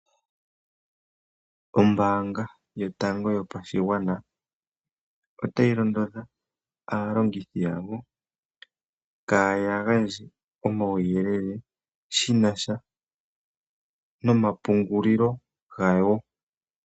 Ombaanga yotango yopashigwana otayi londodha aalongithi yawo kaaya gandje omauyelele shina sha nomapungulilo gawo.